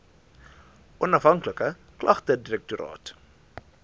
onafhanklike klagtedirektoraat